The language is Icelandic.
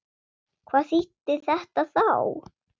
Hvað þýddi þetta þá?